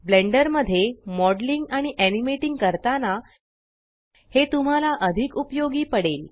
blender मध्ये modelling आणि animating करताना हे तुम्हाला अधिक उपयोगी पडेल